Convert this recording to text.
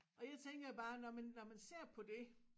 Og jeg tænker bare når man når man ser på det